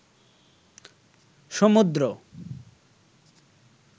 সমুদ্র